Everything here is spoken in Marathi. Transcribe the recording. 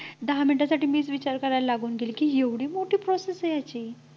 दहा मिनिटांसाठी मीच विचार करायला लागून गेले की एवढी मोठी process आहे ह्याची